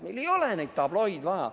Meil ei ole neid tabloosid vaja.